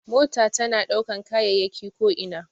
Mota tana ɗaukan kayayyaki ko ina.